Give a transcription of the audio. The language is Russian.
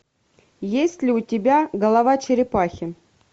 есть ли у тебя голова черепахи